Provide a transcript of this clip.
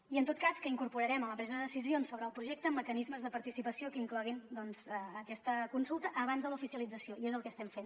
i en tot cas que incorporarem en la presa de decisions sobre el projecte mecanismes de participació que incloguin doncs aquesta consulta abans de l’oficialització i és el que estem fent